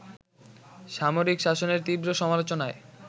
সামরিক শাসনের তীব্র সমালোচনায়